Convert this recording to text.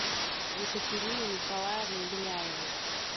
екатерине николаевне беляевой